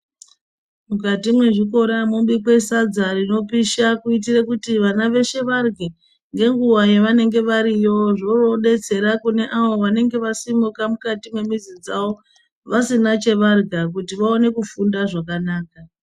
Mukati me zvikora mobikwa sadza rinopisha kuitire kuti vana veshe varye ngenguva yavanenge variyo zvo detsera kune avo vasimuka mukati me mizi dzavo vasina chavarya kuti vaone kufunda zvakanaka.